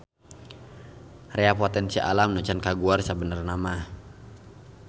Rea potensi alam anu can kaguar sabenernamaha.